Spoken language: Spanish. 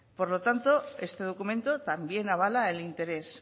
por lo tanto este documento también avala el interés